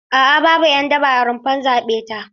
A'a babu 'yan daba a rumfar zaɓe ta.